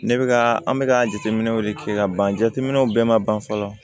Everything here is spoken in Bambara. Ne bɛ ka an bɛ ka jateminɛw de kɛ ka ban jateminɛw bɛɛ man ban fɔlɔ